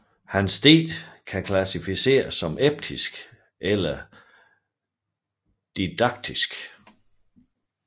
Hans digte kan klassificeres som episke eller didaktiske